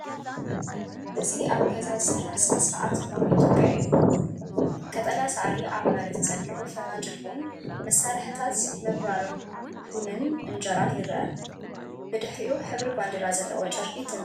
እዚ ኣብ ገዛ ዝስራሕ ስነ-ስርዓት ቡን ኢትዮጵያ'ዩ። ቀጠልያ ሳዕሪ ኣብ መሬት ተዘርጊሑ ፈናጅል ቡን፡ መሳርሒታት ምብራር ቡንን ኢንጀራን ይረአ። ብድሕሪኡ፡ ሕብሪ ባንዴራ ዘለዎ ጨርቂ ተንጠልጠሉ ኣሎ።